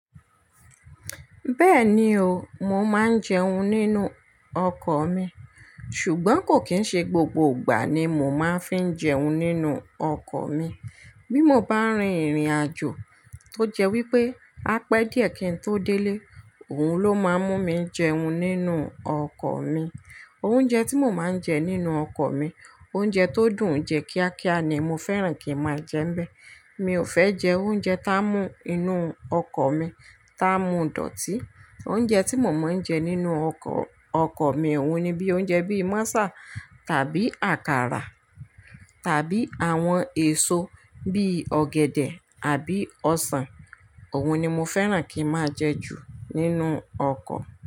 Bẹ́ẹ̀ni o, mo máa ń jẹun nínú ọkọ̀ mi, ṣùgbọ́n kò kín ń ṣe gbogbo ìgbà ni mo máa ń fi ń jẹun nínú ọkọ̀ mi. Bí mo bá rin ìrìnàjò, tó jẹ́ wípé apẹ́ díẹ̀ kín tó délé, òun ló máa ń mú mi jẹun nínú ọkọ̀ mi. Oúnjẹ tí mo máa ń jẹ nínú ọkọ̀ mi, oúnjẹ tó dùn jẹ kíá kíá ni mo fẹ́ràn kí n máa jẹ mbẹ. Mi ò fẹ́ jẹ oúnjẹ tá mú inú ọkọ̀ mi tá mú dọ̀tí. Oúnjẹ tí mo máa ń jẹ nínú ọkọ̀, ọkọ̀ mi òun ni bí i oúnjẹ bíi Mọ́sà tàbí àkàrà tàbí àwọn èso bíi ọ̀gẹ̀dẹ̀ àbí ọsàn. Òun ni mo fẹ́ràn kí n máa jẹ jù nínú ọkọ̀